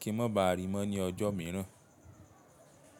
kí n má ba à rí i mọ́ ní ọjọ́ mìíràn.